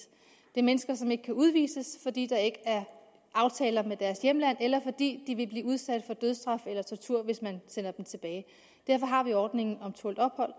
det er mennesker som ikke kan udvises fordi der ikke er aftaler med deres hjemlande eller fordi de vil blive udsat få dødsstraf hvis man sender dem tilbage derfor har vi ordningen om tålt ophold